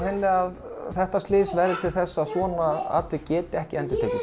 að þetta slys verði til þess að svona atvik geti ekki endurtekið